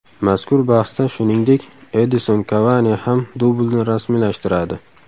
Mazkur bahsda shuningdek, Edison Kavani ham dublni rasmiylashtiradi.